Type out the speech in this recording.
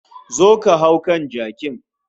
Zo ka hau kan jakin